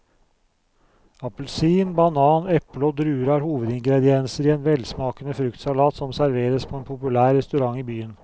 Appelsin, banan, eple og druer er hovedingredienser i en velsmakende fruktsalat som serveres på en populær restaurant i byen.